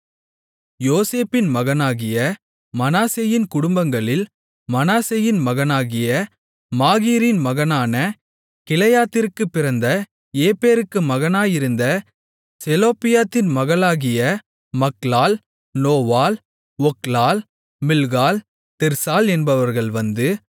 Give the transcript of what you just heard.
யோசேப்பின் மகனாகிய மனாசேயின் குடும்பங்களில் மனாசேயின் மகனாகிய மாகீரின் மகனான கிலெயாத்திற்குப் பிறந்த எப்பேருக்குப் மகனாயிருந்த செலொப்பியாத்தின் மகள்களாகிய மக்லாள் நோவாள் ஒக்லாள் மில்காள் திர்சாள் என்பவர்கள் வந்து